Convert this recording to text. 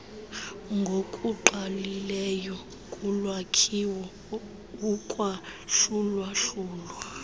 ngokungqalileyo kulwakhiwo ukwahlulwahlulwa